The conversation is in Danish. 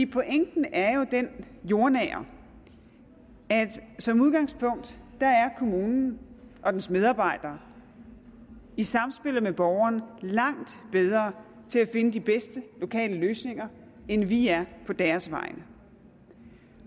pointen er jo den jordnære at som udgangspunkt er kommunen og dens medarbejdere i samspillet med borgeren langt bedre til at finde de bedste lokale løsninger end vi er på deres vegne